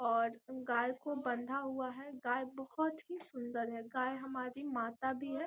और गाय को बांधा हुआ है गाय बहुत ही सुंदर है गाय हमारी माता भी है।